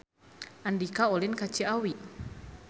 Andika ulin ka Ciawi